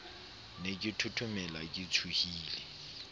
ne ke thothomela ke tshohile